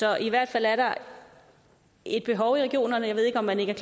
er i hvert fald et behov i regionerne jeg ved ikke om man ikke